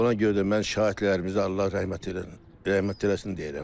Ona görə də mən şəhidlərimizi Allah rəhmət eləsin, rəhmət eləsin deyirəm.